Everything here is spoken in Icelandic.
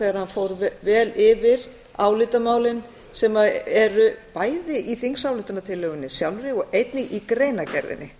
þegar hann fór vel yfir álitamálin sem eru bæði í þingsályktunartillögunni sjálfri og einnig í greinargerðinni